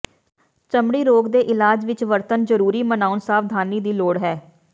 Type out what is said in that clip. ਚਮੜੀ ਰੋਗ ਦੇ ਇਲਾਜ ਵਿੱਚ ਵਰਤਣ ਜ਼ਰੂਰੀ ਮਨਾਉਣ ਸਾਵਧਾਨੀ ਦੀ ਲੋੜ ਹੈ